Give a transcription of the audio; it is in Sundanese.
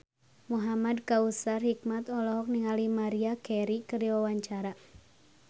Muhamad Kautsar Hikmat olohok ningali Maria Carey keur diwawancara